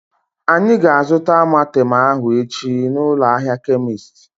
Anyị ga-azuta Amartem ahu echi na ụlọ ahịa kemist